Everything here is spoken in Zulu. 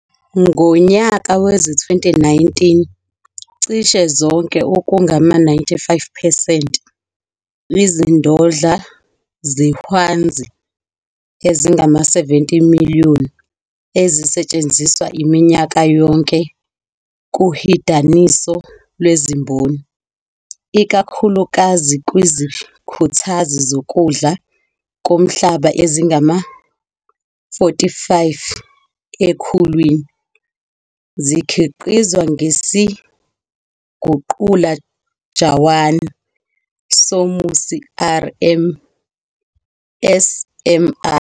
Ngonyaka wezi-2019, cishe zonke, okungama-95 percent, izindodla zehwanzi ezingama-70 million ezisetshenziswa minyaka yonke kuhidaniso lwezimboni, ikakhulukazi kwizikhuthazi zokudla komhlaba ezingama-45 ekhulwini, zikhiqizwa ngesiguqula jawani somusi, SMR.